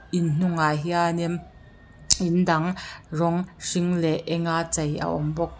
in hnungah hianin in dang rawng hring leh eng a chei a awm bawk.